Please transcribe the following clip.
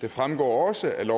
det fremgår også af